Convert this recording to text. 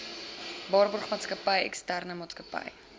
waarborgmaatskappy eksterne maatsakappy